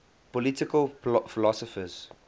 political philosophers